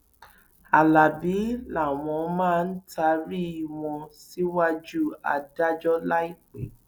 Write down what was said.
alábí làwọn máa taari wọn síwájú adájọ láìpẹ